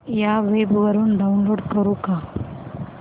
या वेब वरुन डाऊनलोड करू का